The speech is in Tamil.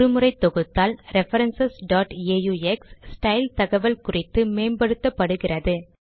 ஒரு முறை தொகுத்தால் ரெஃபரன்ஸ் aux ஸ்டைல் தகவல் குறித்து மேம்படுத்தப்படுகிறது